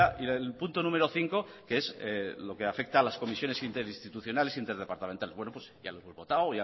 el punto número cinco que es lo que afecta a las comisiones interinstitucionales e interdepartamentales bueno pues ya lo hemos votado